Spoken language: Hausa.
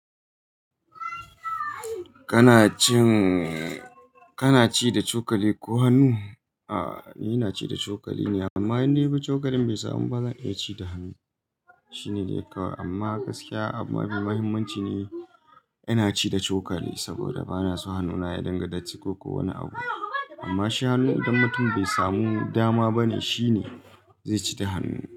Kana cin, kana ci da cokali ko hannu? A'a, ni ina ci da cokali ne amma in na yi ko cokalin bai samu ba zan iya ci da hannu. Shi ne dai kawai amma gaskiya abu mafi muhimmanci ne ina ci da cokali saboda ba na so hannuna ya dinga datti ko wani abu. Amma shi hannun idan mutum bai samu dama bane shi ne zai ci da hannu.